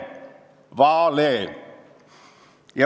Vale!